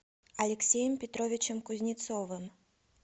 алексеем петровичем кузнецовым